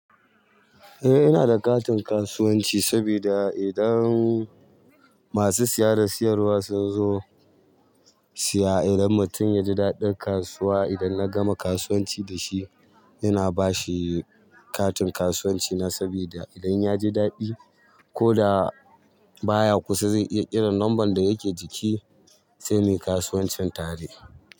Eh ina da katin kasuwanci saboda idan masu siya da siyarwa sun zo siya, idan mutum ya ji daɗin kasuwa idan na gama kasuwanci da shi, ina ba shi katin kasuwanci na saboda idan yaji daɗi ko da baya kusa zai iya kiran lambar da yake jiki sai muyi kasuwancin tare.